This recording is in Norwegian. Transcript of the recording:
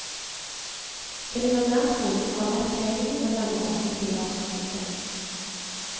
Det ligger nær skolen og er lett tilgjengelig med lange åpningstider. punktum